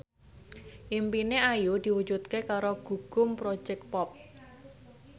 impine Ayu diwujudke karo Gugum Project Pop